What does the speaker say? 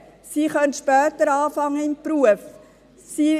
Sie können später in den Beruf einsteigen.